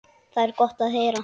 Það er gott að heyra.